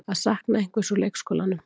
Að sakna einhvers úr leikskólanum